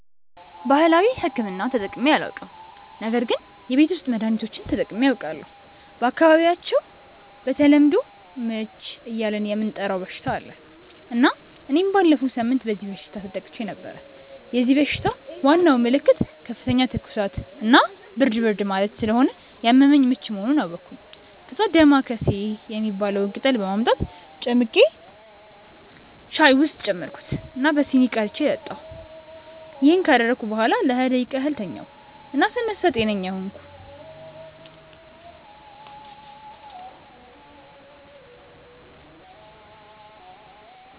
ባህላዊ ሕክምና ተጠቅሜ አላውቅም ነገር ግን የቤት ውስጥ መድሀኒቶችን ተጠቅሜ አውቃለሁ። በአካባቢያቸው በተለምዶ "ምች" እያልን የምንጠራው በሽታ አለ እና እኔም ባለፈው ሳምንት በዚህ በሽታ ተጠቅቼ ነበር። የዚህ በሽታ ዋናው ምልክት ከፍተኛ ትኩሳት እና ብርድ ብርድ ማለት ስለሆነ ያመመኝ ምች መሆኑን አወቅኩ። ከዛ "ዳማከሴ" የሚባለውን ቅጠል በማምጣት ጨምቄ ሻይ ውስጥ ጨመርኩት እና በሲኒ ቀድቼ ጠጣሁ። ይሄን ካደረግኩ በኋላ ለሃያ ደቂቃ ያህል ተኛሁ እና ስነሳ ጤነኛ ሆንኩ።